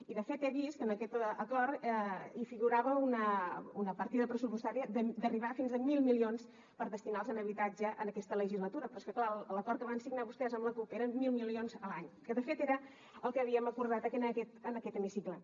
i de fet he vist que en aquest acord hi figurava una partida pressupostària d’arribar fins a mil milions per destinar los a habitatge en aquesta legislatura però és que l’acord que van signar vostès amb la cup eren mil milions a l’any que de fet era el que havíem acordat en aquest hemicicle